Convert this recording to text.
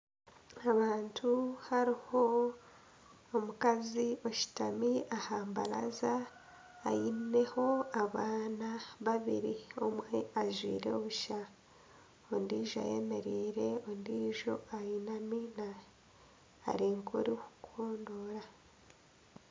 Abantu hariho omukazi oshutami aha mbaraza aine abaana babiri omwe ajwire busha ondiijo eyemereire ondiijo ayinami ari nk'orikukondora